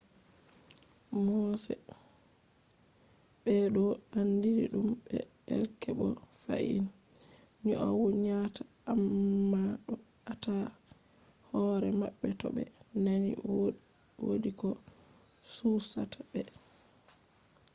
mooseɓe ɗo andiri ɗum be elk bo fahin nyaunata amma ɗo ata hore maɓɓe to ɓe nani wodi ko chuchata ɓe